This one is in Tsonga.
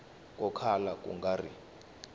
ko kala ku nga ri